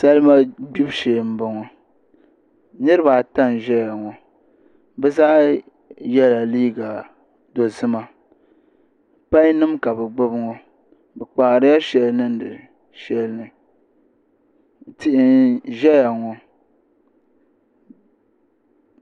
Salima gbibu shee n boŋo niraba ata n ʒɛya ŋo bi zaa yɛla liiga dozima pai nim ka bi gbuni ŋo bi kpaarila shɛli niŋdi shɛli ni tihi n ʒɛya ŋo